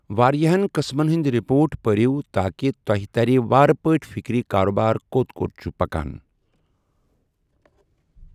وارِیاہن قٕسمن ہندۍ رپوٹ پٔرِو تاكہِ تۄہہِ ترِ وارٕ پٲٹھۍ فِكرِ كاربار كوٚت كوٚت چُھ پكان ۔